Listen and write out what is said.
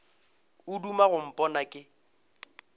o duma go mpona ke